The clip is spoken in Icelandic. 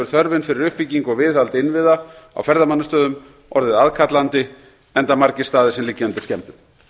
þörfin fyrir uppbyggingu og viðhald innviða á ferðamannastöðum orðið aðkallandi enda margir staðir sem liggja undir skemmdum